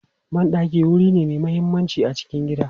Ban ɗaki wuri ne mai mahimmanci a cikin gida.